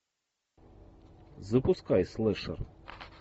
запускай слэшер